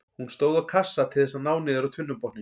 Hún stóð á kassa til þess að ná niður á tunnubotninn.